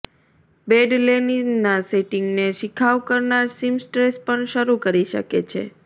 bed લેનિનના સેટિંગને શિખાઉ કરનાર સીમસ્ટ્રેસ પણ શરૂ કરી શકે છે